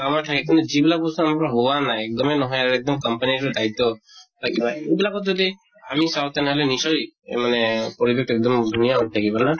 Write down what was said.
আমাৰ ঠাইখিনিত, যিবিলাক বস্তু আমৰা হোৱা নাই, একদমেই নহয়, একদম company দায়িত্ব বা কিবা। এইবিলাকত যদি আমি চাওঁ তেনেহʼলে নিশ্চয় মানে পৰিৱেশ তো একদম ধুনীয়া হৈ থাকিব, না?